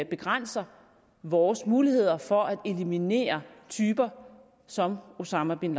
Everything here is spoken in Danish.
begrænser vores muligheder for at eliminere typer som osama bin